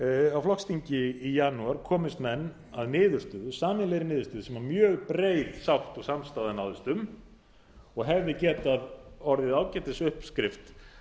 á flokksþingi í janúar komust menn að niðurstöðu sameiginlegri niðurstöðu sem mjög breið sátt og samstaða náðist um og hefði getað orðið ágætis uppskrift